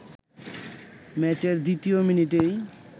ম্যাচের দ্বিতীয় মিনিটেই